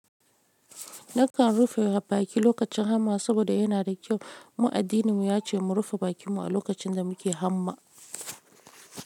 Nakan rufe baki lokacin hamma saboda yana da kyau. Mu addininmu ya ce mu rufe bakinmu a lokacin da muke hamma.